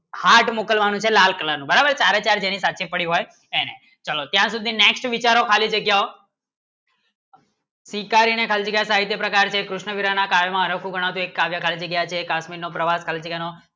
heart મુકલ્વાનું છે લાલ color ની બરાબર જેની ચારો ચાર સાચી જગ્યા હોય ચલો જેની next વિચારો ખાલી જગ્યાઓ શિકારી ને ખાલી તે પ્રકાર છે કૃષ્ણ વીરા માં કયો ના આગળ એક કાગજ જગ્યા છે એક આદમી નો પ્રવાસ